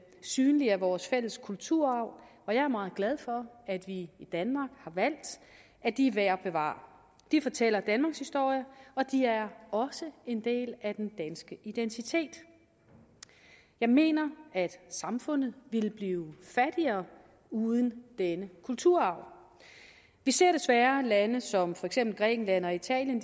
synlige af vores fælles kulturarv jeg er meget glad for at vi i danmark har valgt at de er værd at bevare de fortæller danmarkshistorie og de er også en del af den danske identitet jeg mener at samfundet ville blive fattigere uden denne kulturarv vi ser desværre lande som for eksempel grækenland og italien